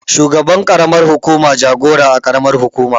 Shugaban ƙaramar hukuma jagora a ƙaramar hukuma